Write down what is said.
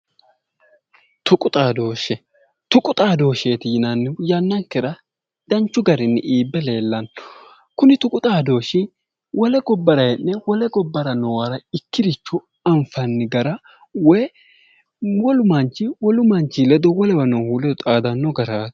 Tuqu xaadoshe tuqu xaadoshshe yineemmo woyte yannankera danchi garinni iibbe leellano Kuni tuqu xaadoshshi wole gobbara hee'ne ikkirocho anfanni garaati woy mittu manchi wole gobbara noohu ledo xaadanno garaati